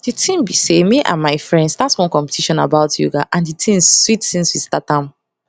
di thing be say me and my friends start one competition about yoga and di thing sweet since we start am